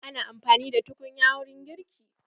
Ana amfani da tukunya wurin girki.